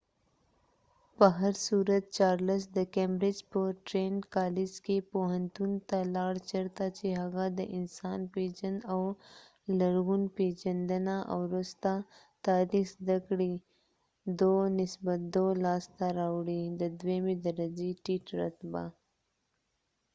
په هرصورت، چارلس د کیمبرج په ټرینیټ کالج کې پوهنتون ته لاړ چېرته چې هغه د انسان پیژند او لرغون پیژندنه او وروسته تاریخ زده کړې، ۲:۲ لاسته راوړی. د دویمې درجې ټیټ رتبه